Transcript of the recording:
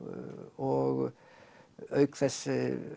og auk þess